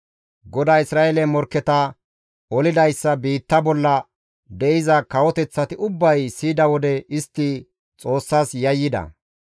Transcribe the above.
GODAY Isra7eele morkketa olidayssa biitta bolla de7iza kawoteththati ubbay siyida wode istti Xoossas yayyida.